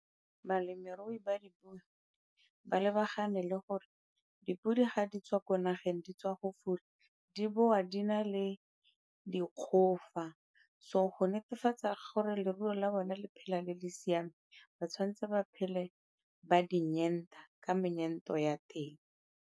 Balemirui ba dipodi ba lebagane le gore dipodi ga di tswa ko nageng di tswa go fula, di boa di na le dikgofa. So go netefatsa gore leruo la bone le phela le le siame, ba tshwanetse ba phele ba di ka ya teng.